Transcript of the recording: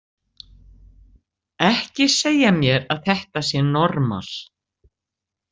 Ekki segja mér að þetta sé normal!